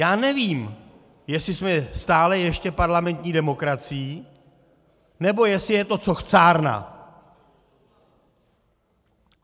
Já nevím, jestli jsme stále ještě parlamentní demokracií, nebo jestli je to cochcárna!